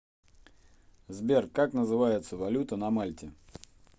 сбер как называется валюта на мальте